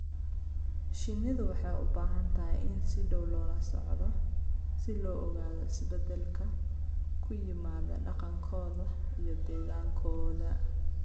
Shinnidu waxay u baahan tahay in si dhow loola socdo si loo ogaado isbeddelka ku yimaadda dhaqankooda iyo deegaankooda.